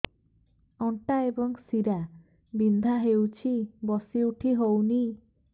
ଅଣ୍ଟା ଏବଂ ଶୀରା ବିନ୍ଧା ହେଉଛି ବସି ଉଠି ହଉନି